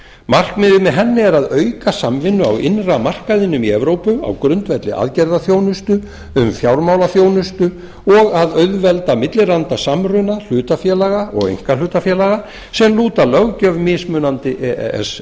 markmiðið með henni er að auka samvinnu á innra markaðinum í evrópu á grundvelli aðgerðaþjónustu um fjármálaþjónustu og að auðvelda millilandasamruna hlutafélaga og einkahlutafélaga sem lúta löggjöf mismunandi e e s